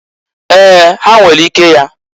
Ee! Ha nwere ike ya.